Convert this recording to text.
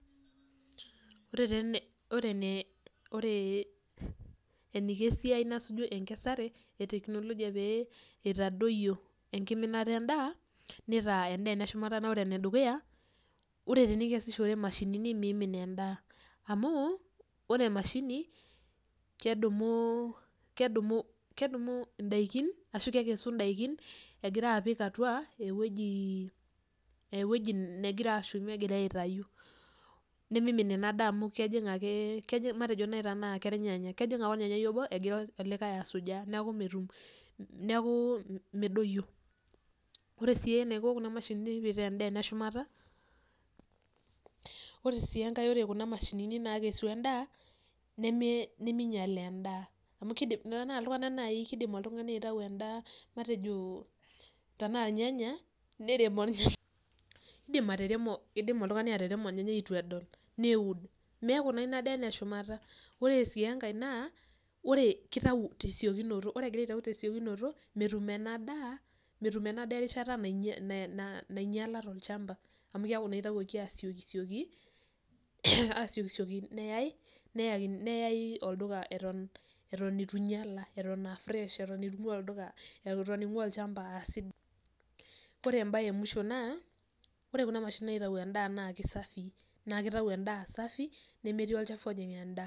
Ore eniko easiai nasuju enkesare eteknologia pee itadoyio enkiminata endaa, nitaa endaa ene shumata naa ore enedukuya; ore tenikesishore imashinini nemeimin endaa, amu ore emashini kedumu endaikin ashu kekesu indaikin, egira apik atua ewoji negira shumie egira aitayu. Nemeimin inadaa matejo naai kenyanya kejing ake olnyanyai obo egira olikai asujaa neeku medoyio. Ore sii eniko kuna mashinini peeitaa endaa eneshumata, ore enkae ore kuna mashinini naakesu endaa nemenyial endaa, amu endaa iltunganak naai kiidim oltungani aitayu endaa, matejo tenaa ilnyanya kidim oltungani ataremo olnyanya eitu edol neud, meeku naa ina daa ene shumata. Ore sii enkae naa kitau tasiokinoto, ore egira aitayu tesiokinoto metum ena daa erishata nainyial tol'chamba amu keeku naa itayioki asiokisioki neyau olduka eton eitu inyial eton inkua olchamba eton asidai.